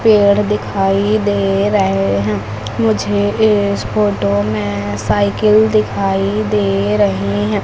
पेड़ दिखाई दे रहे हैं मुझे इस फोटो में साइकिल दिखाई दे रही है।